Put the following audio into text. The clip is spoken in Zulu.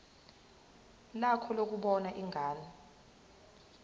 lakho lokubona ingane